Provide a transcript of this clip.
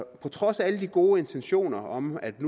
på trods af alle de gode intentioner om at